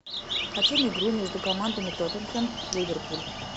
хотим игру между командами тоттенхэм ливерпуль